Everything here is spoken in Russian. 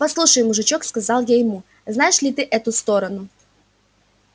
послушай мужичок сказал я ему знаешь ли ты эту сторону